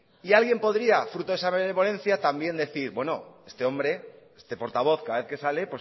y alguien podría fruto de esa benevolencia también decir bueno este portavoz cada vez que sale